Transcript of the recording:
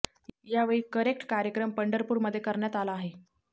यावेळी करेक्ट कार्यक्रम पंढरपूर मध्ये करण्यात आला आहे